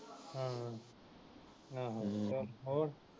ਹਾਂ ਹਾਂ ਹੋਰ